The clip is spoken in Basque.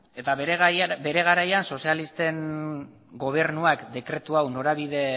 eta bere garaian sozialisten gobernuak dekretu hau norabide